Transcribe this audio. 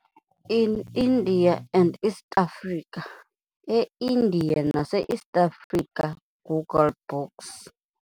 In India and East Africa E-Indiya Nase East Africa - Google Books